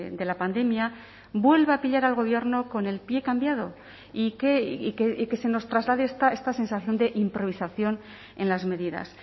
de la pandemia vuelva a pillar al gobierno con el pie cambiado y que se nos traslade esta sensación de improvisación en las medidas